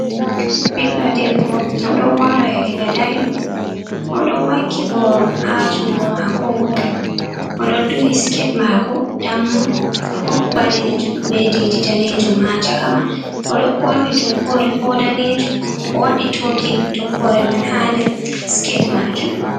Ɓiɗdo debbo o ɗon waro yaiga iga daiɗum oɗo waki boro ha jungo mako woto, oɗo duhi skete mako dammu ɗum ɓalejum be didi danejum ha caka man, o ɗon ɓorni toggore bo danejum, o waɗi tokin toggore man ha nder skete majum.